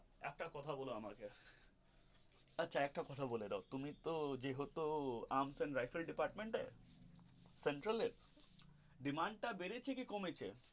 একটা কথা বলো আমাকে আচ্ছা একটা কথা বলে দাও আমাকে তুমি তো যে হো তো arms and rifles department এর control এ demand তা বেড়েছে না কমেছে.